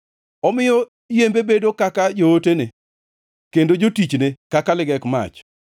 Omiyo yembe bedo kaka jootene, kendo jotichne kaka ligek mach.